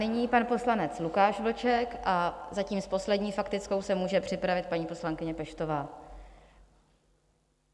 Nyní pan poslanec Lukáš Vlček a zatím s poslední faktickou se může připravit paní poslankyně Peštová.